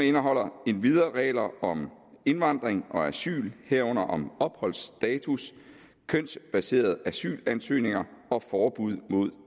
indeholder endvidere regler om indvandring og asyl herunder om opholdsstatus kønsbaserede asylansøgninger og forbud mod